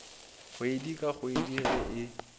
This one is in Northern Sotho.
kgwedi ka kgwedi ge e